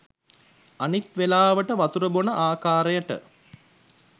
අනිත් වෙලාවට වතුර බොන ආකාරයට